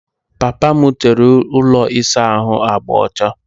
Papa m tere ụlọ ịsa ahụ agba ọcha.